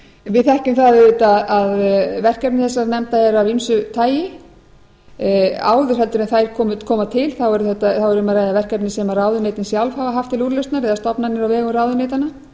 við þekkjum það auðvitað að verkefni þessara nefnda eru af ýmsu tagi áður en þær koma til er um að ræða verkefni sem ráðuneytin sjálf hafa haft til úrlausnar eða stofnanir á vegum ráðuneytanna